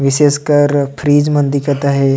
विशेष कर फ्रिज मन दिखत हे।